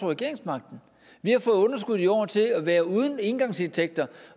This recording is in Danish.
regeringsmagten vi har fået underskuddet i år til at være uden engangsindtægter